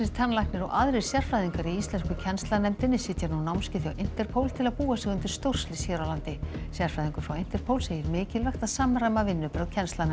tannlæknir og aðrir sérfræðingar í íslensku kennslanefndinni sitja nú námskeið hjá Interpol til að búa sig undir stórslys hér á landi sérfræðingur frá Interpol segir mikilvægt að samræma vinnubrögð